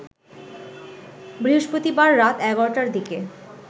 বৃহস্পতিবার রাত ১১টার দিকে